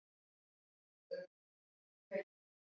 Kjartan Hreinn Njálsson: Þið hafið ekki séð annað eins?